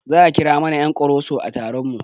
Za a kira mana ƴan ƙoroso a taron mu